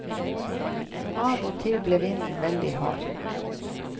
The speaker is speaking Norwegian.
Av og til ble vinden veldig hard.